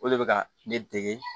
O de bɛ ka ne dege